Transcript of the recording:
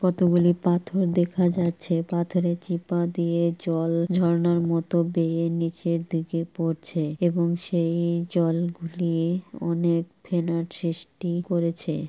কতগুলি পাথর দেখা যাচ্ছে পাথরে চিপা দিয়ে জল ঝরনার মতো বেরিয়ে নিচের দিকে পড়ছে এবং সেই জল গুলিয়ে অনেক ফেনার সৃষ্টি করেছে।